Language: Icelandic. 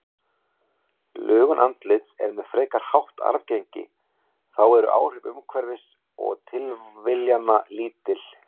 Lögun andlits er með frekar hátt arfgengi, þá eru áhrif umhverfis og tilviljana lítil.